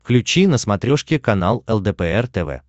включи на смотрешке канал лдпр тв